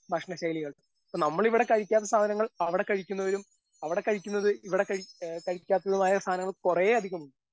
ഭക്ഷണ ശൈലികൾ ഇപ്പൊ നമ്മളിവിടെ കഴിക്കാത്ത സാധനങ്ങൾ അവിടെ കഴിക്കുന്നവരും അവിടെ കഴിക്കുന്നത് ഇവിടെ കഴി ഏ കഴിക്കാത്തതുമായ സാധനങ്ങൾ കൊറേ ഇണ്ട്.